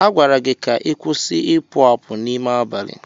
A gwara gị ka ị kwụsị ịpụ apụ n'ime abalị!